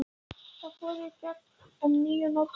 Þau fóru í gegn um ný og notuð nöfn.